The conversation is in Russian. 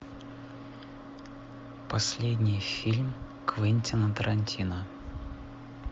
последний фильм квентина тарантино